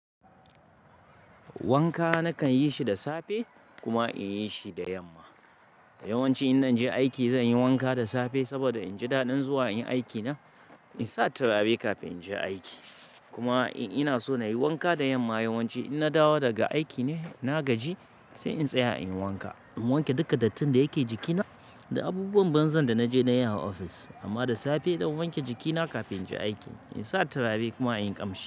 Wanka nakan yi shi da safe kuma in yi shi da yamma. Yawanci in zanje aiki zan yi wanka da safe saboda in ji daɗin zuwa in yi aikina. In sa turare kafin in je aiki. Kuma in yana so na yi wanka da yamma yawanci in na dawo daga aiki ne na gaji sai in tsaya in yi wanka. In wanke duka dattin da yake jikina da abubuwan banza da na je na yi a office. Amma da safe zan wanke jikina kafin in je aiki, in sa turare kuma in yi ƙamshi.